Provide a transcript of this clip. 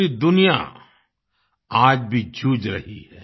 पूरी दुनिया आज भी जूझ रही है